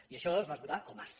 i això es va esgotar al març